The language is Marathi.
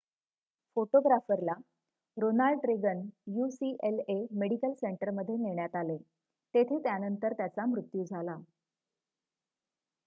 फोटोग्राफरला रोनाल्ड रेगन ucla मेडिकल सेंटरमध्ये नेण्यात आले तेथे त्यानंतर त्याचा मृत्यू झाला